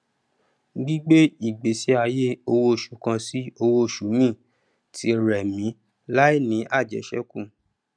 gbígbé ìgbésí ayé owó oṣù kan sí owó oṣù míì tí rẹ mí láìní àjẹṣẹkù